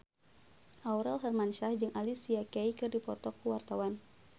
Aurel Hermansyah jeung Alicia Keys keur dipoto ku wartawan